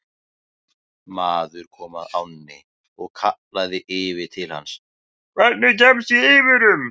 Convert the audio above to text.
Maður kom að ánni og kallaði yfir til hans: Hvernig kemst ég yfir um?